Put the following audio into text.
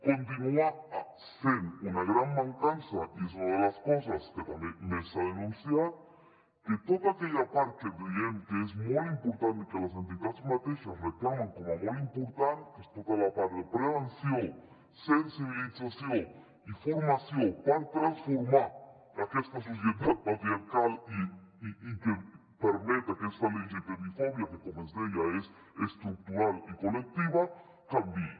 continua sent una gran mancança i és una de les coses que també més s’ha denunciat que tota aquella part que diem que és molt important i que les entitats mateixes reclamen com a molt important que és tota la part de prevenció sensibilització i formació per transformar aquesta societat patriarcal i que permet aquesta lgtbi fòbia que com es deia és estructural i col·lectiva canviï